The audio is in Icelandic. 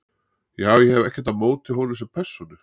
Já- ég hef ekkert á móti honum sem persónu.